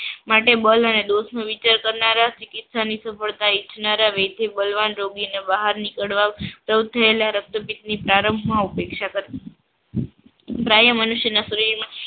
માટે બલ અને દોસનું વિચાર કરનારા ચિકિતશાની સગવડતા ઈછનારા વેધ્યબલવાન રોગીને બહાર નિકડવા સૌથી પેલા રક્તપિત પ્રારંભમાંઉપેક્ષા કરવી. પ્રાય મનુષ્યના શરીરમાં